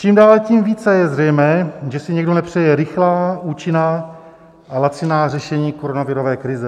Čím dál tím více je zřejmé, že si někdo nepřeje rychlá, účinná a laciná řešení koronavirové krize.